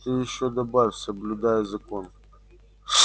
ты ещё добавь соблюдаю закон